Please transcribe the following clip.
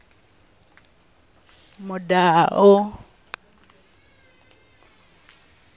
mudau